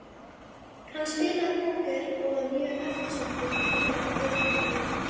Hann spilaði póker og var mjög eftirsóttur til þeirrar iðju.